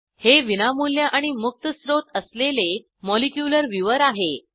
हे विनामूल्य आणि मुक्त स्त्रोत असलेले मॉलिक्युलर व्ह्यूवर आहे